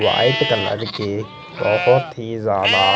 white colour के बहोत ही ज्यादा--